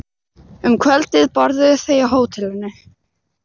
Um kvöldið borðuðu þau á hótelinu.